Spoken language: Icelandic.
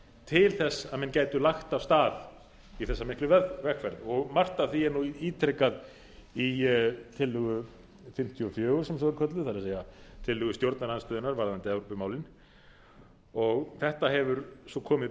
til þess að menn gætu lagt af stað í þessa miklu vegferð og margt af því er nú ítrekað í tillögu fimmtíu og fjögur sem svo er kölluð það er tillögu stjórnarandstöðunnar varðandi evrópumálin þetta hefur svo komið